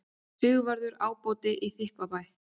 Sigvarður ábóti í Þykkvabæ.